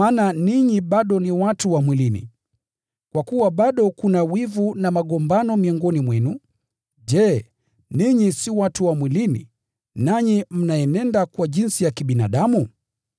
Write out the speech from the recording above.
Ninyi bado ni watu wa mwilini. Kwa kuwa bado kuna wivu na magombano miongoni mwenu, je, ninyi si watu wa mwilini? Je, si mwaendelea kama watu wa kawaida?